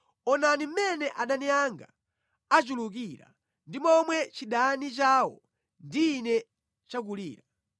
Onani mmene adani anga achulukira ndi momwe chidani chawo ndi ine chakulira.